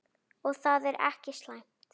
Og það er ekki slæmt.